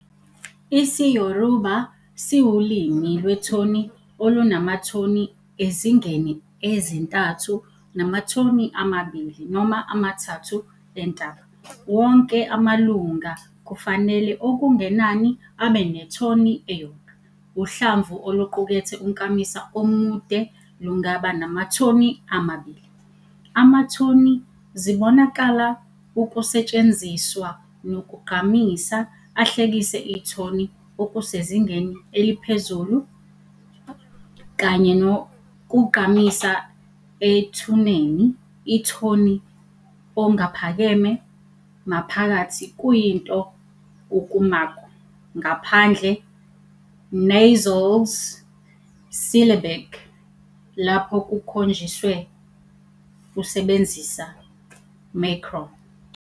IsiYoruba siwulimi lwethoni olunamathoni ezingeni ezintathu namathoni amabili noma amathathu entaba. Wonke amalunga kufanele okungenani abe nethoni eyodwa, uhlamvu oluqukethe unkamisa omude lungaba namathoni amabili. Amathoni zibonakala ukusetshenziswa nokugqamisa ahlekise ithoni okusezingeni eliphezulu, kanye nokugqamisa ethuneni ithoni ongaphakeme, maphakathi kuyinto ukumakwa, ngaphandle nasals syllabic lapho kukhonjiswe usebenzisa macron.